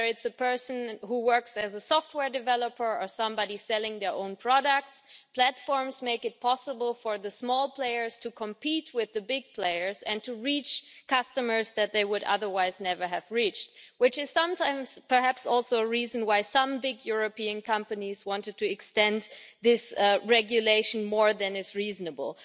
Whether it's a person who works as a software developer or somebody selling their own products, platforms make it possible for the small players to compete with the big players and to reach customers that they would otherwise never have reached, which is sometimes perhaps also a reason why some big European companies wanted to extend this regulation more than is reasonable.